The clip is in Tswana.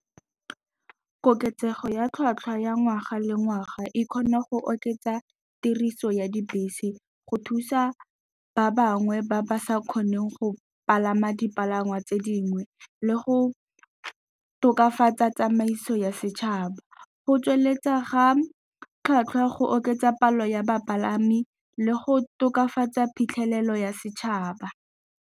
Koketsego ya tlhatlhwa ya ngwaga le ngwaga e kgone go oketsa tiriso ya dibese, go thusa ba bangwe ba ba sa kgoneng go palama dipalangwa tse dingwe le go tokafatsa tsamaiso ya setšhaba, go tsweletsa ga tlhwatlhwa, go oketsa palo ya bapalami, le go tokafatsa phitlhelelo ya setšhaba.